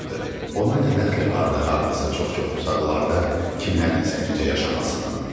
Ona nə dəxli vardı hardasa çox-çox uzaqlarda kimlərinsə necə yaşamasının?